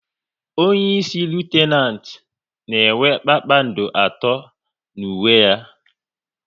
Onyeisi Litenant na enwe kpakpando atọ n'uwe ya